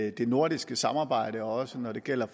at det nordiske samarbejde også når det gælder